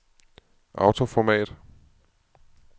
autoformat